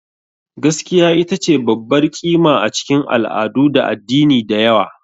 Gaskiya ita ce babbar ƙima a cikin al'adu da addinai da yawa.